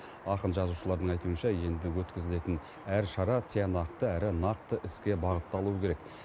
ақын жазушылардың айтуынша енді өткізілетін әр шара тиянақты әрі нақты іске бағытталуы керек